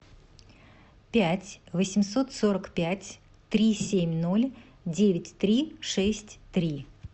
пять восемьсот сорок пять три семь ноль девять три шесть три